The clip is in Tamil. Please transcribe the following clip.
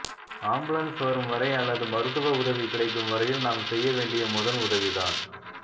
ஆம்புலன்ஸ் வரும் வரை அல்லது மருத்துவ உதவி கிடைக்கும் வரையில் நாம் செய்ய வேண்டிய முதல் உதவிதான்